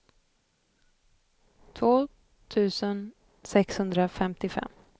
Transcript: två tusen sexhundrafemtiofem